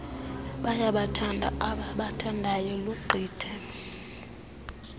bayabathanda abaabathandayo lugqithe